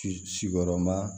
Sigiyɔrɔma